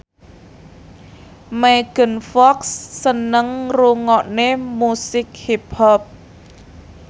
Megan Fox seneng ngrungokne musik hip hop